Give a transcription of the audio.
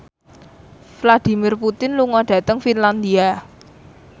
Vladimir Putin lunga dhateng Finlandia